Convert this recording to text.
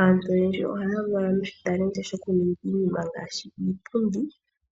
Aantu oyendji ohaya valwa noshitalenti shoku ninga iinima ngaashi iipundi